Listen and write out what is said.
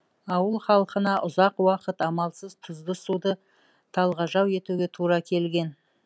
ауыл халқына ұзақ уақыт амалсыз тұзды суды талғажау етуге тура келген